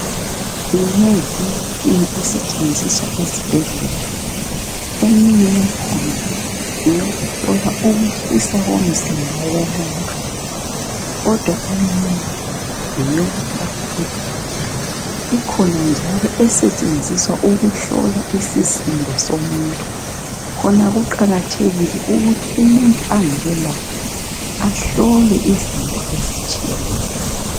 minengi imitshina esetshenziswa esibhedlela eminye yakhona ngeyokuhlola ukutshisa komzimba womuntu kodwa eminye ngeyokuthapha igazi ikhona njalo esetshenziswa ukuhlola isisindo somuntu khona kuqakathekile ukuthi umuntu ahlolwe izinto ezitshiyeneyo